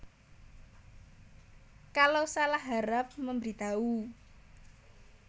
Kalau salah harap memberitahu